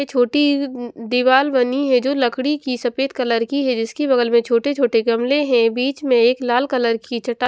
ए छोटी उं उं दीवाल बनी है जो लकड़ी की सफेद कलर की है जिसकी बगल में छोटे छोटे गमले हैं बीच में एक लाल कलर की चट्टा --